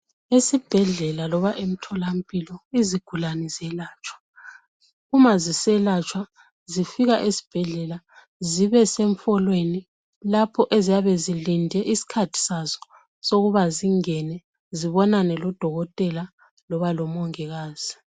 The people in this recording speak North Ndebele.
Esibhedlela loba entolamphilo, izigulane ziyelatshwa. Uma ziselatshwa, zifika esibhedlela zibe sefolweni lapho ziyabe zilinde iskhathi sazo sokuba zingene zibonane lo dokotela loba lomungikazi .